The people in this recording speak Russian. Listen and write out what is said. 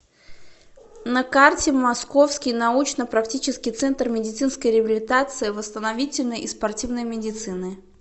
на карте московский научно практический центр медицинской реабилитации восстановительной и спортивной медицины